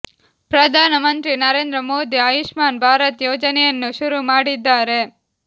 ಪ್ರಧಾನ ಮಂತ್ರಿ ನರೇಂದ್ರ ಮೋದಿ ಆಯುಷ್ಮಾನ್ ಭಾರತ್ ಯೋಜನೆಯನ್ನು ಶುರು ಮಾಡಿದ್ದಾರೆ